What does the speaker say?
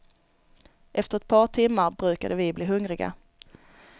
Efter ett par timmar brukade vi bli hungriga.